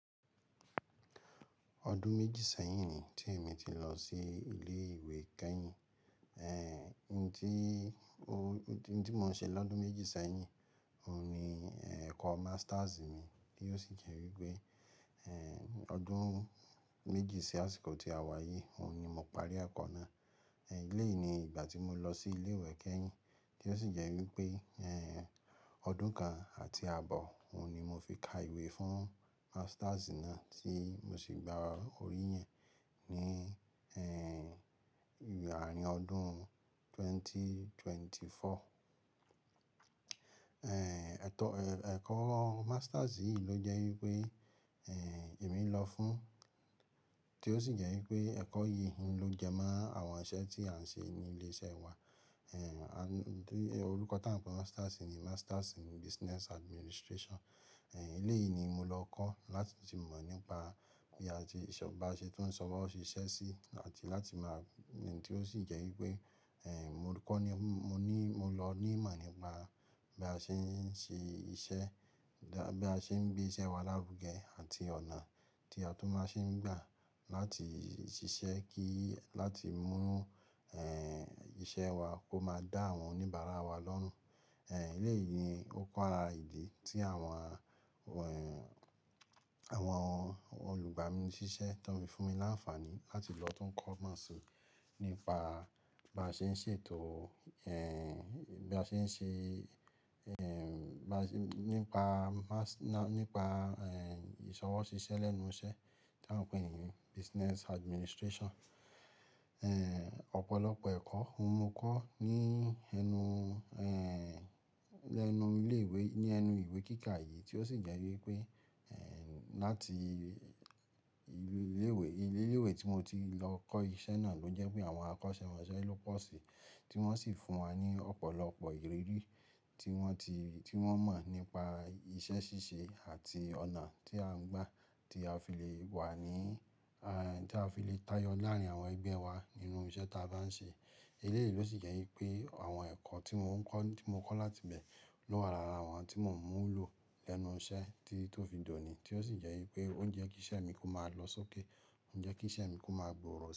Ọdún méjì sẹ́yìn ni tí èmi ti lọ sí ilé ìwé kẹ́yìn. Ohun tí mo n ṣe lọ́dún méjì sẹ́yìn, òhun ni ẹ̀kọ́ masters mi, tí ó sì jẹ́ wípé, ọdún méjì sí àsìkò tí a wá yìí, òhun ni mo parí ẹ̀kọ́ náà. Eléyìí ni ìgbà tí mo lọ sí ilé ìwé kẹ́yìn, tí ó sì jẹ́ wípé, ọdún kan àti àbọ̀, òhun ni mo fi ka ìwé fún masters náà tí mo sì gba oríyin ní, àárín ọdún 2024. Ẹ̀kọ́ masters yìí ló jẹ́ wípé, èmi ń lọ fún, tí ó sì jẹ́ wípé ẹ̀kọ́ yìí ohun ló je mọ́ àwọn iṣẹ́ tí à ń ṣe ní ilé iṣẹ́ wa. Eh, orúkọ tá ń pè masters ni Masters in Business Administration. Eléyìí ni mo lọ kọ́ láti le mọ̀ nípa bí a ṣe bá ṣe tó sọwọ ṣíṣẹ́ sí àti láti máa, tí ó sì jẹ́ wípé, eh, mo kọ́ ní, mo ní, mo lọ ní ìmọ̀ nípa bí a ṣe ń ṣe iṣẹ́, bí a ṣe ń gbé iṣẹ́ wa lárugẹ àti ọ̀nà tí a tún máa ṣe ń gbà láti ṣiṣẹ́ kí láti mú, eh, iṣẹ́ wà kó máa dá àwọn oníbàárà wa lọ́rùn. Eh, eléyìí ni ó kun ara ìdí tí àwọn, eh, àwọn olùgbà mi ní ṣíṣẹ́ tó fi fún mi láǹfààní láti lọ tún kọ́ máṣe nípa bí a ṣe ń ṣètò, eh, bí a ṣe ń ṣe, eh, nípa, nípa, eh, ìsọwọ́ ṣíṣe lẹ́nu iṣẹ́ tí à ń pè ní Business Administration. Eh, ọ̀pọ̀lọpọ̀ ẹ̀kọ́ mo kọ́ ní ẹnu, eh, lẹ́nu ilé ìwé, ní ẹnu ìwé kíkà yìí tí ó sì jẹ́ wípé, eh, láti ilé ìwé, ilé ìwé tí mo ti lọ kọ́ iṣẹ́ náà ló jẹ́ pé àwọn akọ́ṣẹ́mọṣẹ́ ló pọ̀ sí, tí wọ́n sì fún wa ní ọ̀pọ̀lọpọ̀ ìrírí tí wọ́n ti, tí wọ́n mọ̀ nípa iṣẹ́ ṣíṣe àti ọ̀nà tí à ń gbà tí a fi le wà ní, eh, tí a fi le táyọ láàárín àwọn ẹgbẹ́ wa nínú iṣẹ́ tí a bá ń ṣe. Eléyìí ló sì jẹ́ wípé àwọn ẹ̀kọ́ tí mo ń kọ́, tí mo kọ́ láti bẹ lowa ara àwọn tí mò ń mú lò lẹ́nu iṣẹ́ tí ó fi dòní tí ó sì jẹ́ wípé ó ń jẹ́ kí iṣẹ́ mi kó máa lọ sókè, ó ń jẹ́ kí iṣẹ́ mi kó máa gbòòrò.